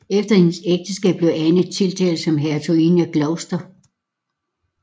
Efter hendes ægteskab blev Anne tiltalt som hertuginde af Gloucester